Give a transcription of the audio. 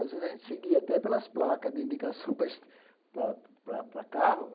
Às vezes, a gente seguia até pelas placas de indicação para es para para carro.